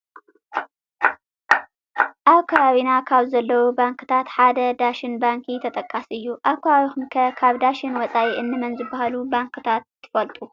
ኣብ ከባቢና ካብ ዘለዉ ባንክታት ሓደ ዳሽን ባንኪ ተጠቃሲ እዩ፡፡ ኣብ ከባቢኹም ከ ካብ ዳሽን ወፃኢ እንመን ዝበሃሉ ባንክታት ትፈልጡ?